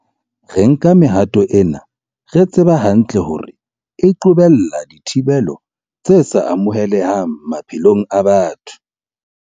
Re nka mehato ena re tseba hantle hore e qobella dithibelo tse sa amohelehang maphelong a batho.